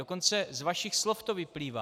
Dokonce z vašich slov to vyplývá.